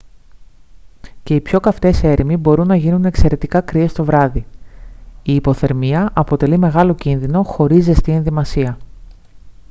και οι πιο καυτές έρημοι μπορούν να γίνουν εξαιρετικά κρύες το βράδυ η υποθερμία αποτελεί μεγάλο κίνδυνο χωρίς ζεστή ενδυμασία